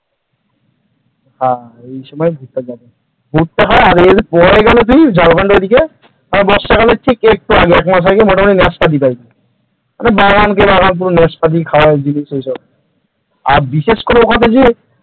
আহা এই সময় ভুট্টা চাষ হয়। ভুট্টা হয় আর এরপরে গেলে যদি যা ঝাড়খণ্ডের ওদিকে তাহলে বর্ষাকালের একটু আগে আগে মোটামুটি নাশপাতি এই বাগানকে বাগান পুরো নাশপাতি খাওয়ার জিনিস এসব । আর বিশেষ করে